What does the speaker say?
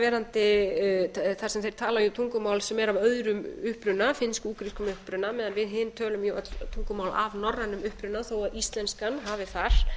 verandi þar sem þeir tala jú tungumál sem er af öðrum uppruna finnsk til úkraínskum uppruna meðan við hin tölum öll tungumál af norrænum uppruna þó íslenskan hafi þar